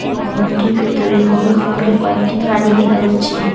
এই ভবনটির ভিতরে হলুদ রঙ্গের কয়েকটি গাড়ি দেখা যাচ্ছে।